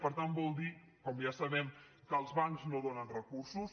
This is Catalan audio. per tant vol dir com ja sabem que els bancs no donen recursos